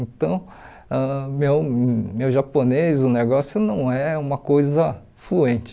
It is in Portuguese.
Então, ãh meu meu japonês, o negócio não é uma coisa fluente.